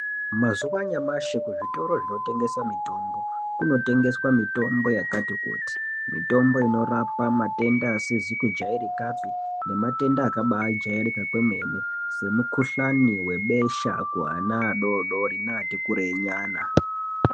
Mumazuwa anyamashi zvitoro zvinotengesa mutombo munotengeswa mitombo yakati kuti Mitombo inorapa matenda asizi kujairikapi nematenda akajairika kwemene semukuhlani besha kuvana vadodori nevati kurei nyana.